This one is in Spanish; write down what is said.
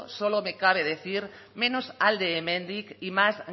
solo me cabe decir menos alde hemendik y más